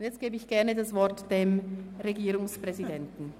Jetzt gebe ich das Wort gerne dem Regierungspräsidenten.